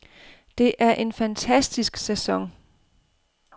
Det er en fantastisk sæson.